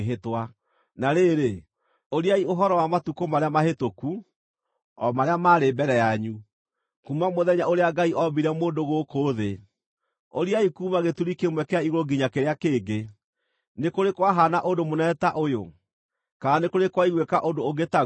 Na rĩrĩ, ũriai ũhoro wa matukũ marĩa mahĩtũku, o marĩa maarĩ mbere yanyu, kuuma mũthenya ũrĩa Ngai ombire mũndũ gũkũ thĩ; ũriai kuuma gĩturi kĩmwe kĩa igũrũ nginya kĩrĩa kĩngĩ. Nĩ kũrĩ kwahaana ũndũ mũnene ta ũyũ, kana nĩ kũrĩ kwaiguĩka ũndũ ũngĩ taguo?